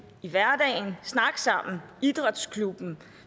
i hverdagen snakke sammen i idrætsklubben